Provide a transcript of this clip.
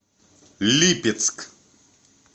липецк